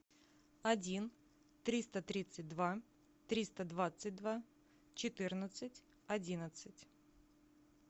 один триста тридцать два триста двадцать два четырнадцать одиннадцать